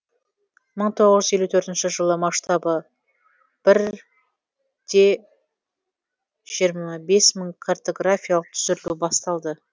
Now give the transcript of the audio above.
мың тоғыз жүз елу төртінші жылы масштабы бір де жиырма бес мың картографиялық түсірілу басталды